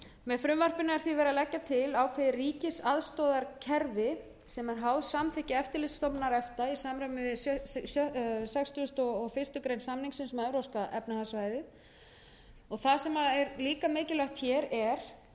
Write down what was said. með frumvarpinu er því verið að leggja til ákveðið ríkisaðstoðarkerfi sem er háð samþykki eftirlitsstofnunar efta í samræmi við sextugustu og fyrstu grein samningsins um evrópska efnahagssvæðið og það sem er líka mikilvægt hér er